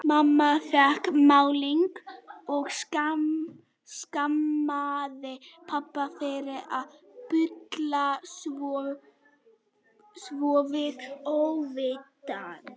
Mamma fékk málið og skammaði pabba fyrir að bulla svona við óvitann.